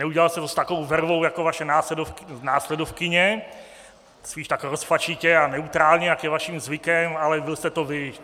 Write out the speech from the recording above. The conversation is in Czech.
Neudělal jste to s takovou vervou jako vaše následovkyně, spíš tak rozpačitě a neutrálně, jak je vaším zvykem, ale byl jste to vy.